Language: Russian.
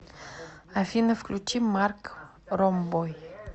афина включи марк ромбой